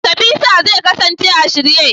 yaushe Visa zai kasance a shirye?